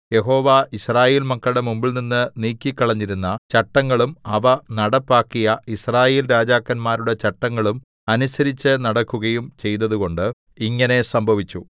യഹോവ യിസ്രായേൽ മക്കളുടെ മുമ്പിൽനിന്ന് നീക്കിക്കളഞ്ഞിരുന്ന ചട്ടങ്ങളും അവ നടപ്പാക്കിയ യിസ്രായേൽ രാജാക്കന്മാരുടെ ചട്ടങ്ങളും അനുസരിച്ചുനടക്കുകയും ചെയ്തതുകൊണ്ട് ഇങ്ങനെ സംഭവിച്ചു